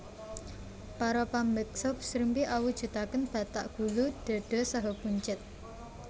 Para pambeksa srimpi awujudaken batak gulu dhada saha buncit